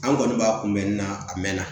An kɔni b'a kunbɛn na a mɛnna